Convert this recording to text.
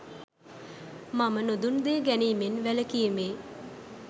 මම නොදුන් දේ ගැනීමෙන් වැළකීමේ